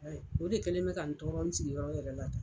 O de kɛlen bɛ ka n tɔɔrɔ in sigiyɔrɔ yɛrɛ la tan.